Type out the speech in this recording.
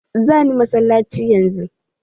Za ni masallaci yanzu.